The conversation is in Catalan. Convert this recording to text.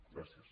gràcies